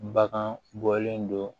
Bagan bɔlen do